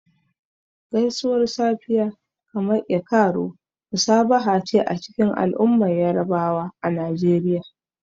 Gaisuwar safiya, kamar "E kaaro," musabaha ce a cikin al'ummar Yarabawa na Najeriya.